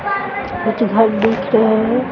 कुछ घर दिख रहें हैं।